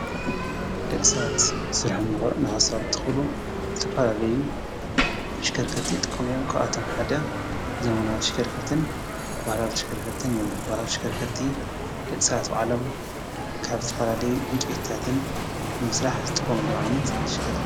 ደቂ ሰባት ስርሖም ንከሳልጡ ክብሉ ዝተፈላለዩ አሽከርከርቲ ይጥቀሙ እዮም ። ካባቶም ሓደ ዘመናዊ ተሽከርክርቲን ባህላዊ ተሽከርከርቲን እዮም ።ባህላዊ ተሽከርከርቲን ደቂ ሰባት ባዕሎም ካብ ዝተፈላለየ ዕንጨይታትን ንምስራሕ ዝጥቀምሎም ዓይነት ተሽከርከርቲ እዮም።